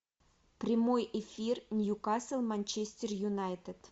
прямой эфир ньюкасл манчестер юнайтед